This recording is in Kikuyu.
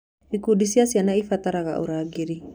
Ikundi cia ciana ciabataraga ũrangĩri.